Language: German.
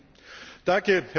Herr Präsident!